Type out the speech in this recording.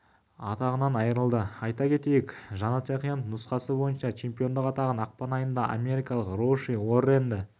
атағынан айырылды айта кетейік жанат жақиянов нұсқасы бойынша чемпиондық атағын ақпан айында америкалық роуши уорренді